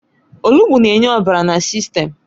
Olugbu na-enye ọbara na sistem